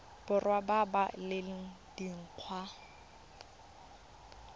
borwa ba ba leng dingwaga